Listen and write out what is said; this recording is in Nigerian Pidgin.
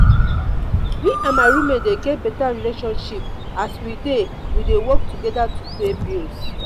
me and my roommate dey get beta relationship as we dey we dey work together to pay bills.